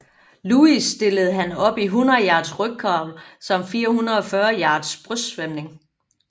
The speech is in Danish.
Louis stillede han op i 100 yards rygcrawl samt 440 yards brystsvømning